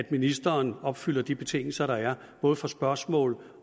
ministeren opfylder de betingelser der er både for spørgsmål